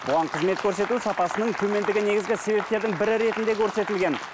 бұған қызмет көрсету сапасының төмендігі негізгі себептердің бірі ретінде көрсетілген